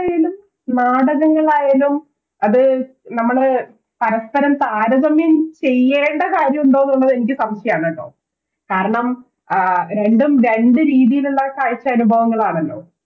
നാടകങ്ങളായാലും അത് നമ്മള് പരസ്പ്പരം താരതമ്യം ചെയ്യേണ്ട കാര്യമുണ്ടോ ന്നുള്ളത് എനിക്ക് സംശയാണ് ട്ടോ കാരണം ആഹ് രണ്ടും രണ്ട് രീതിലുള്ള കാഴ്ചയനുഭവങ്ങളാണല്ലോ